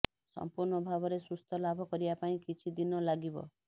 ସମ୍ପୂର୍ଣ୍ଣ ଭାବରେ ସୁସ୍ଥ ଲାଭ କରିବା ପାଇଁ କିଛି ଦିନ ଲାଗିବ